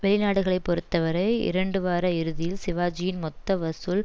வெளிநாடுகளைப் பொறுத்தவரை இரண்டுவார இறுதியில் சிவாஜியின் மொத்த வசூல்